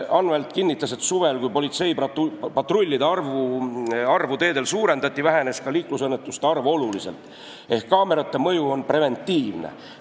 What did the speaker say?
Anvelt kinnitas, et suvel, kui politseipatrullide arvu teedel suurendati, vähenes ka liiklusõnnetuste arv oluliselt, ehk kaamerate mõju on preventiivne.